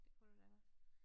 Det kunne du da godt